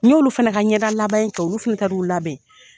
N y'olu fana ka ɲɛda labɛn kɛ olu fana taar'u labɛn